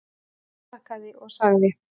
Hún afþakkaði og sagði